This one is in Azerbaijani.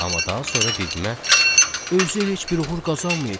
Amma daha sonra bibimə "Özü heç bir uğur qazanmayıb.